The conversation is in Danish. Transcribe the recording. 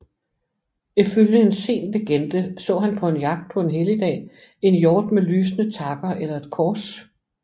Ifølge en sen legende så han på en jagt på en helligdag en hjort med lysende takker eller et kors